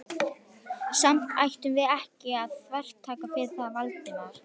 Samt ættum við ekki að þvertaka fyrir það, Valdimar.